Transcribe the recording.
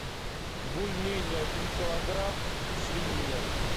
бульмени один килограмм свинина